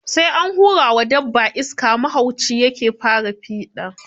Sai an hura wa dabba iska, mahaucin ya ke fara fiɗa